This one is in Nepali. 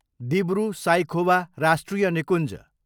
दिब्रु साइखोवा राष्ट्रिय निकुञ्ज